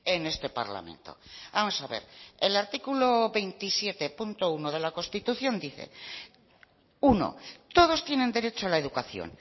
en este parlamento vamos a ver el artículo veintisiete uno de la constitución dice uno todos tienen derecho a la educación